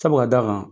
Sabu ka d'a kan